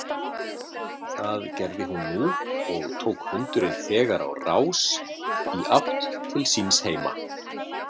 Það gerði hún nú og tók hundurinn þegar á rás í átt til síns heima.